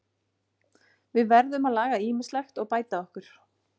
Við verðum að laga ýmislegt og bæta okkur.